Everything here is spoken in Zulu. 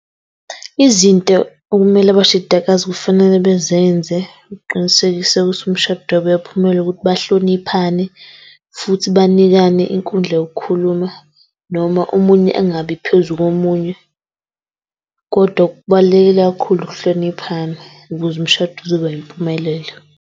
Izinto okumele abashadikazi kufanele bezenze uqinisekisa ukuthi umshado wabo uyaphumelela ukuthi bahloniphane futhi banikane inkundla yokukhuluma, noma omunye engabi phezu komunye. Kodwa okubalulekile kakhulu ukuhloniphana ukuze umshado uzoba yimpumelelo